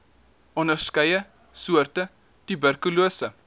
onderskeie soorte tuberkulose